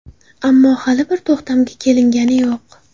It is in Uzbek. Ammo hali bir to‘xtamga kelingani yo‘q.